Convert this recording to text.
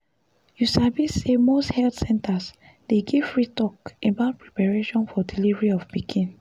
you sabi say most health centers dey give free talk about preparation for delivery of pikin